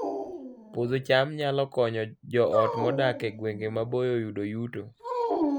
Puodho cham nyalo konyo joot modak e gwenge maboyo yudo yuto